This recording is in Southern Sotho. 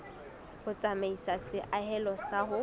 ho tsamaisa seahelo sa ho